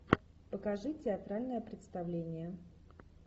покажи театральное представление